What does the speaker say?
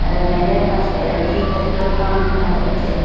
রেললাইনের পাশে একটি পেট্রোল পাম্প দেখা যাচ্ছে।